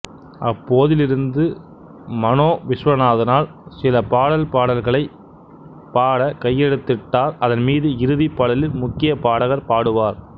அப்போதிருந்து மனோ விஸ்வநாதனால் சில பாடல் பாடல்களைப் பாட கையெழுத்திட்டார் அதன் மீது இறுதி பாடலில் முக்கிய பாடகர் பாடுவார்